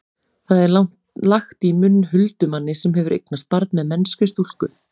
það er lagt í munn huldumanni sem hefur eignast barn með mennskri stúlku